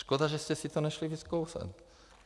Škoda, že jste si to nešli vyzkoušet.